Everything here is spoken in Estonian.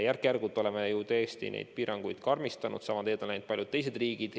Järk-järgult oleme neid piiranguid karmistanud ja sama teed on läinud paljud teised riigid.